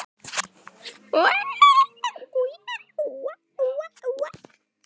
Setjið sykur, krydd og vatn.